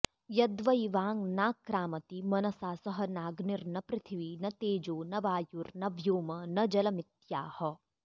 यद्वै वाङ् नाक्रामति मनसा सह नाग्निर्न पृथ्वी न तेजो न वायुर्न व्योम न जलमित्याह